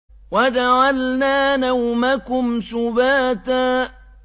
وَجَعَلْنَا نَوْمَكُمْ سُبَاتًا